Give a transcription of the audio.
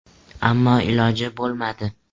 Ammo iloji bo‘lmadi.